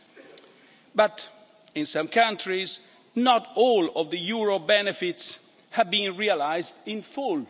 However, in some countries, not all of the euro's benefits have been realised in full.